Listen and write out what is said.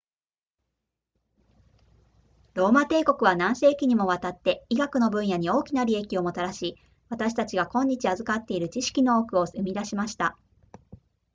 ローマ帝国は何世紀にもわたって医学の分野に大きな利益をもたらし私たちが今日授かっている知識の多くを生み出しました